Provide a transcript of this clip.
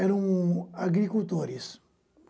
Eram agricultores.